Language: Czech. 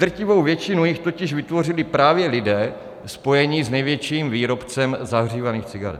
Drtivou většinu jich totiž vytvořili právě lidé spojení s největším výrobcem zahřívaných cigaret.